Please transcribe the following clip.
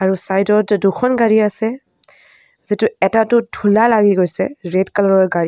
আৰু চাইড ত যে দুখন গাড়ী আছে যিটো এটাটোত ধূলা লাগি গৈছে ৰেড কালাৰ ৰ গাড়ী.